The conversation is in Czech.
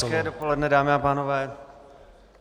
Hezké dopoledne, dámy a pánové.